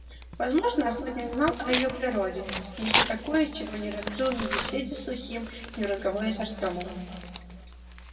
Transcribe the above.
возможно охотник знал о её природе нечто такое чего не раскрыл ни в беседе с сухим ни в разговоре с артёмом